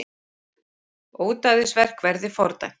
Ódæðisverk verði fordæmt